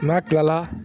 N'a kilala